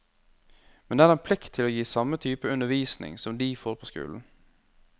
Men det er en plikt til å gi samme type undervisning som de får på skolen.